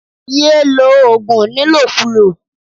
Ye lo ogun nilokulo.